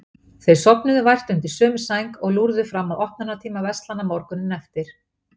Þau sofnuðu vært undir sömu sæng, og lúrðu fram að opnunartíma verslana morguninn eftir.